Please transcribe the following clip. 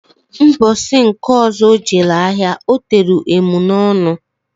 Mbosi nke ọzọ o jelu ahia otelu emunọnụ.